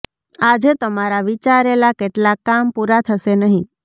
આજે તમારા વિચારેલા કેટલાક કામ પુરા થશે નહી